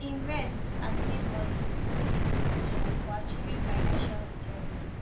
to invest and save money dey essential for achieving financial security